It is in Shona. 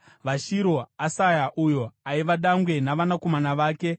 VaShiro: Asaya uyo aiva dangwe navanakomana vake.